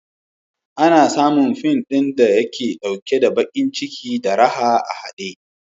Ana samun fin ɗin da yake ɗauke da baƙin ciki da raha a haɗe.